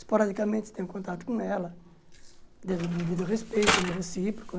Esporadicamente tenho contato com ela, de devido ao respeito né recíproco.